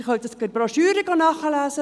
Sie können die Broschüre lesen.